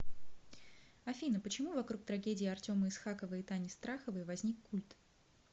афина почему вокруг трагедии артема исхакова и тани страховой возник культ